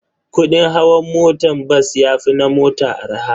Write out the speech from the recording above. Kudin hawan motan bas yafi na mota arha.